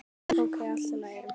Ókei, allt í lagi.